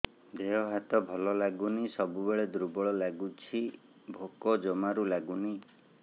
ଦେହ ହାତ ଭଲ ଲାଗୁନି ସବୁବେଳେ ଦୁର୍ବଳ ଲାଗୁଛି ଭୋକ ଜମାରୁ ଲାଗୁନି